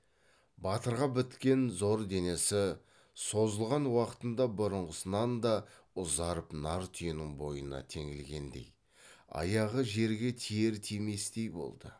батырға біткен зор денесі созылған уақытында бұрынғысынан да ұзарып нар түйенің бойына теңелгендей аяғы жерге тиер тиместей болды